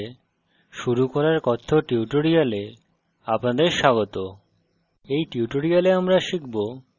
first java program এর সাথে শুরু করার কথ্য tutorial আপনাদের স্বাগত